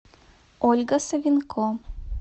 ольга савенко